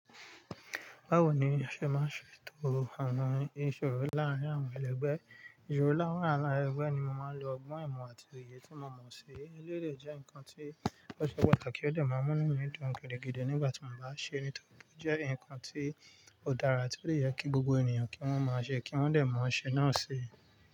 Báwo ni a ṣe máa ṣe tò áná ìṣòro láàárín àwọn ẹlẹgbẹ́? Ìṣòro láàárín àwọn ẹlẹgbẹ́ ni mo máa ń lo ọgbọ́n ìmọ̀ àti òye tí mo mọ̀ sí. Elérò jẹ́ nǹkan tí ó ṣe pàtàkì ó dẹ má mú numi dùn gidigidi nígbà tí mo bá ṣe é, nítorí jẹ́ nǹkan tí ó dára tí ó yẹ kí gbogbo ènìyàn kí wọ́n máa ṣe kí wọ́n lè má ṣe náà si.